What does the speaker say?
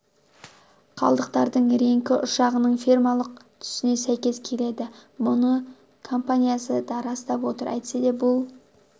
қалдықтардың реңкі ұшағының фирмалық түсіне сәйкес келеді мұны компаниясы да растап отыр әйтсе де бұл